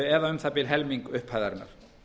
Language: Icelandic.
eða um það bil helming upphæðarinnar